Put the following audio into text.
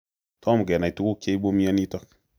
Tom kenai tuguk cheibu myonitok